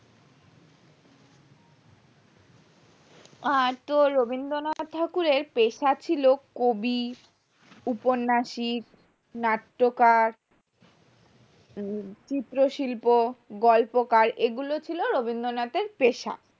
আর তোর রবীন্দ্রনাথ ঠাকুরের এর পেশা ছিল কবি উপন্যাসই নাট্যকার চিত্র শিল্প গল্পকার এগুলো ছিল রবীন্দ্রনাথ এর পেশা